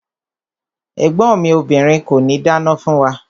Ẹ̀gbọ́n mi obìrin kòní dáná fún wa.